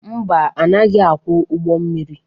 Mba, anaghị akwọ ụgbọ mmiri.